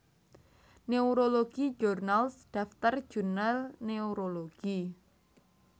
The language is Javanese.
Neurology Journals daftar jurnal neurologi